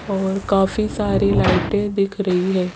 और काफी सारी लाइटें दिख रही है।